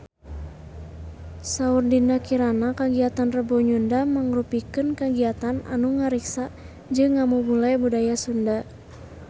Saur Dinda Kirana kagiatan Rebo Nyunda mangrupikeun kagiatan anu ngariksa jeung ngamumule budaya Sunda